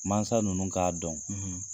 Mansa nunnu k'a dɔn